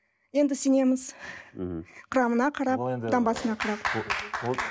енді сенеміз мхм құрамына қарап таңбасына қарап